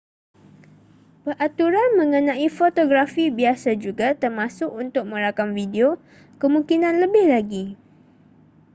peraturan mengenai fotografi biasa juga termasuk untuk merakam video kemungkinan lebih lagi